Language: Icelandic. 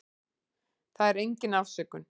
Það er engin afsökun.